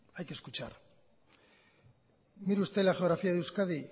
hay que escuchar mire usted la geografía de euskadi